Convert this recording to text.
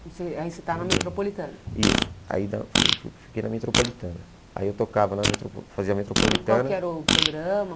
E você aí você está na Metropolitana Isso, aí na fui fui fiquei na Metropolitana Aí eu tocava na Metropo fazia Metropolitana E qual que era o programa?